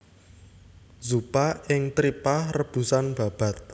Zuppa ing trippa rebusan babat